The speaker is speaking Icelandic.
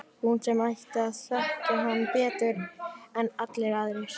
Hún sem ætti að þekkja hann betur en allir aðrir.